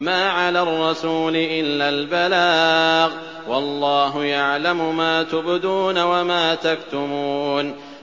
مَّا عَلَى الرَّسُولِ إِلَّا الْبَلَاغُ ۗ وَاللَّهُ يَعْلَمُ مَا تُبْدُونَ وَمَا تَكْتُمُونَ